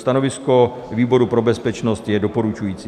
Stanovisko výboru pro bezpečnost je doporučující.